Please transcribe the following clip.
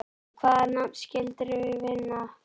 Og hvaða nafn skildirðu finna þá?